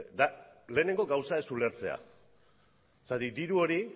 da lehenengo gauza ez ulertzea zergatik diru hori